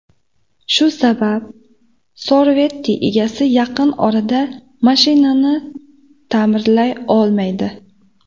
Shu sabab Corvette egasi yaqin orada mashinasini ta’mirlay olmaydi.